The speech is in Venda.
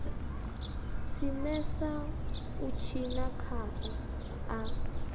simesa u tshina khao a